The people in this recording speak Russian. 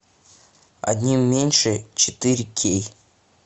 одним меньше четыре кей